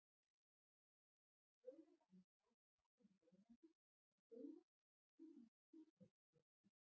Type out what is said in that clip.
Vonar að hún taki af henni ómakið að segja að þetta sé einungis kurteisisheimsókn.